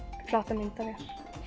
myndavél